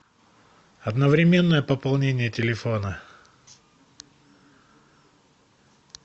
одновременное пополнение телефона